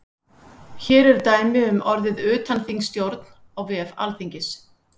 Hér eru dæmi um orðið utanþingsstjórn á vef alþingis.